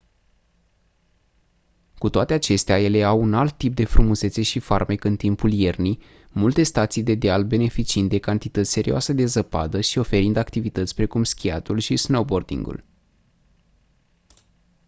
cu toate acestea ele au un alt tip de frumusețe și farmec în timpul iernii multe stații de deal beneficiind de cantități serioase de zăpadă și oferind activități precum schiatul și snowboarding-ul